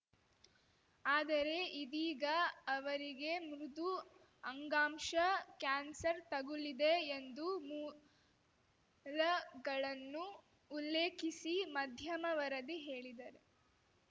ಆದರೆ ಇದೀಗ ಅವರಿಗೆ ಮೃದು ಅಂಗಾಂಶ ಕ್ಯಾನ್ಸರ್‌ ತಗುಲಿದೆ ಎಂದು ಮೂಲಗಳನ್ನು ಉಲ್ಲೇಖಿಸಿ ಮಧ್ಯಮ ವರದಿ ಹೇಳಿದರೆ